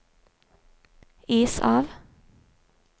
is av